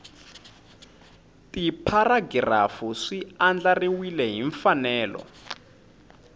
tipharagirafu swi andlariwile hi mfanelo